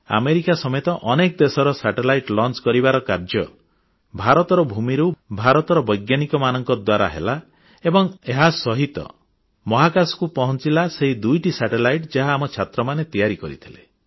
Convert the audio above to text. America ସମେତ ଅନେକ ଦେଶର ଉପଗ୍ରହ ମହାକାଶକୁ ପ୍ରେରଣ କରିବାର କାର୍ଯ୍ୟ ଭାରତର ଭୂମିରୁ ଭାରତର ବୈଜ୍ଞାନିକମାନଙ୍କ ଦ୍ୱାରା ହେଲା ଏବଂ ଏହାସହିତ ମହାକାଶକୁ ପହଞ୍ଚିଲା ସେହି ଦୁଇଟି ଉପଗ୍ରହ ଯାହା ଆମ ଛାତ୍ରମାନେ ତିଆରି କରିଥିଲେ